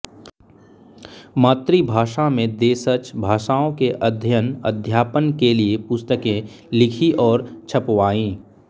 मातृभाषा में देशज भाषाओं के अध्ययन अध्यापन के लिये पुस्तकें लिखीं और छपवाईं